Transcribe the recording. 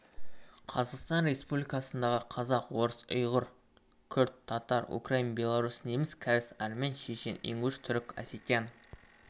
қазақстан республикасындағы қазақ орыс ұйғыр күрд татар украин белорус неміс кәріс армян шешен ингуш түрік осетин